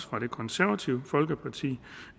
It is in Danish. fra det konservative folkeparti